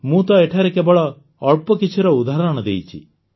ମୁଁ ତ ଏଠାରେ କେବଳ ଅଳ୍ପ କିଛିର ଉଦାହରଣ ଦେଇଛି